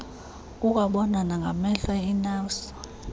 kukwabonwa nangamehlo inafvsa